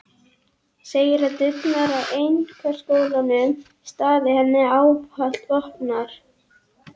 Segir að dyrnar á einkaskólanum standi henni ávallt opnar.